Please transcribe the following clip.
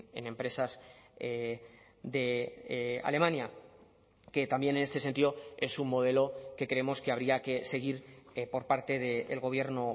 en empresas de alemania que también en este sentido es un modelo que creemos que habría que seguir por parte del gobierno